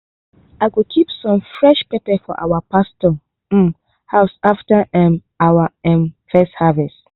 i go keep some fresh pepper for our pastor um house after um our um first harvest.